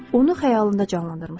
Onu xəyalında canlandırmışdı.